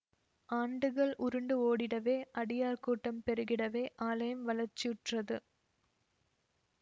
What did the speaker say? ஆண்டுகள் உருண்டு ஓடிடவே அடியார் கூட்டம் பெருகிடவே ஆலயம் வளர்ச்சியுற்றது